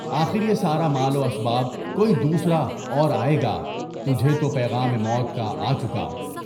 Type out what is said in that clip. آخریہ سارا مال و اسباب کوئی دوسرا اور آئے گا، تجھے تو پیغام موت کا آ چکا۔